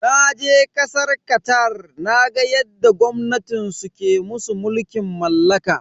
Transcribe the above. Naje kasar Qatar naga yadda gwamnatin su ke musu mulkin mallaka.